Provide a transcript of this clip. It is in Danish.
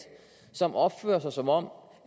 som opfører sig som om